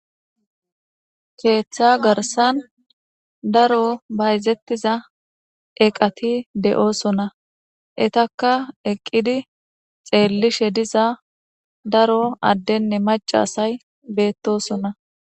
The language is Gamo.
keeththa garsan daro bayzettiza eqati de7oosona etaka eqqidi xeellishe diza daro addenne macasay beettosona